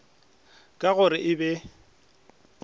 ka go re e be